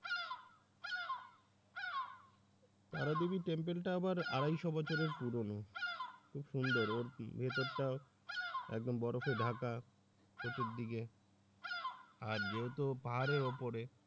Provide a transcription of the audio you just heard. তারা দেবি temple টা আবার আড়াইশ বছরের পুরনো খুব সুন্দর অর্থী ভিতর টা একদম বরফের ঢাকা চতুর্দিকে আর যেহেতু পাহাড়ের উপরে।